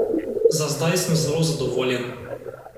Za zdaj sem zelo zadovoljen.